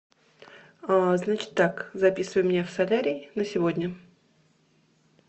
значит так записывай меня в солярий на сегодня